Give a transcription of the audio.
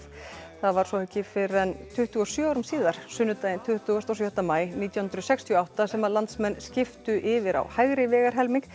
það var svo ekki fyrr en tuttugu og sjö árum síðar sunnudaginn tuttugasta og sjötta maí nítján hundruð sextíu og átta sem landsmenn skiptu yfir á hægri vegarhelming